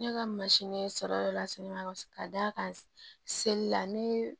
Ne ka sɔrɔ yɔrɔ la sɛnɛgali ka d'a kan seli la ne